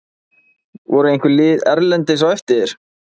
Voru einhver lið erlendis á eftir þér?